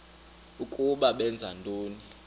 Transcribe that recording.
ukuba benza ntoni